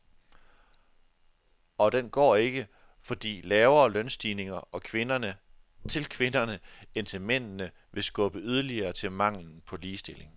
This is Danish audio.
Og den går ikke, fordi lavere lønstigninger til kvinderne end til mændene vil skubbe yderligere til manglen på ligestilling.